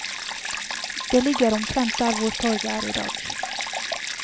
Det ligger omtrent der hvor torget er idag.